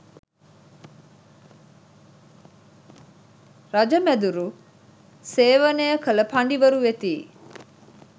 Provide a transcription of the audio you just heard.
රජමැදුරු සේවනය කළ පඬිවරු වෙතියි